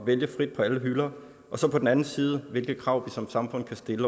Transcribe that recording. vælge frit på alle hylder og så på den anden side hvilke krav vi som samfund kan stille